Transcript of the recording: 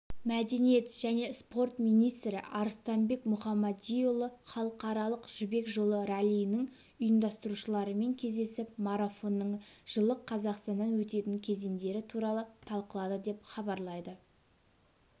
мәдениет және спорт министрі арыстанбек мұхамадиұлы халықаралық жібек жолы раллиінің ұйымдастырушыларымен кездесіп марафонның жылы қазақстаннан өтетін кезеңдері туралы талқылады деп хабарлайды